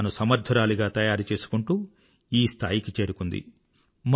తనని తాను సమర్థురాలిగా తయారు చేసుకుంటూ ఈ స్థాయికి చేరుకుంది